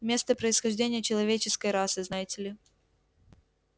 место происхождения человеческой расы знаете ли